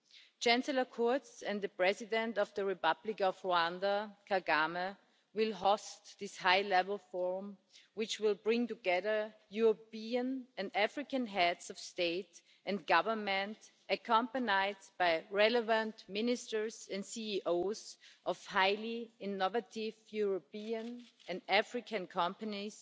Chancellor Kurz and the President of the Republic of Rwanda, Mr Kagame, will host this high level forum, which will bring together European and African Heads of State and Government, accompanied by relevant ministers and CEOs of highly innovative European and African companies